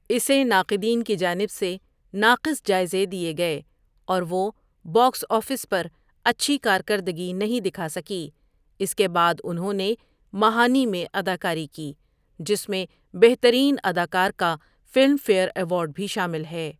اسے ناقدین کی جانب سے ناقص جائزے دیے گئے اور وہ باکس آفس پر اچھی کارکردگی نہیں دکھاسکی اس کے بعد انہوں نے مہانؑی میں اداکاری جس میں بہترین اداکار کا فلم فیئر ایوارڈ بھی شامل ہے۔